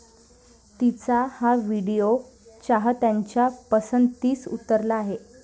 तिचा हा व्हिडिओ चाहत्यांच्या पसंतीस उतरला आहे.